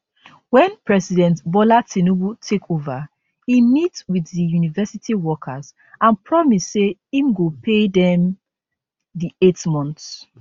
wen president bola tinubu take ova e meet wit di university workers and promise say im go pay dem di eight months